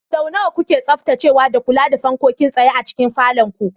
Sau nawa kuke tsaftacewa da kula da fankokin tsaye a cikin falon ku?